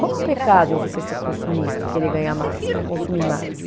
Qual é o pecado em você ser consumista e querer ganhar mais, para consumir mais?